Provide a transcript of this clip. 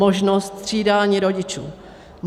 Možnost střídání rodičů.